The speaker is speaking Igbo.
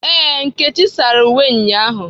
Ee, nkechi sara uwe ụnyahụ